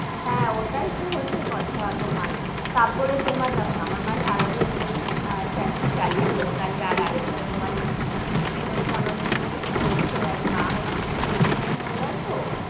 হেঁ, ওটাই তো হচ্ছে কথা তোমার, তারপরে তোমার দেখো না আমার মা সারা দিন news channel চালিয়ে বসে থাকবে, আরেকটা তোমার main হচ্ছে আমার মুখে মুখে তো বলেছে এর আগে মা হচ্ছে সেই pension holder তো,